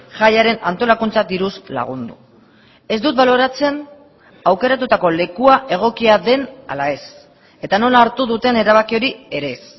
jaiaren antolakuntza diruz lagundu ez dut baloratzen aukeratutako lekua egokia den ala ez eta nola hartu duten erabaki hori ere ez